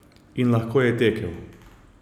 In lahko je tekel!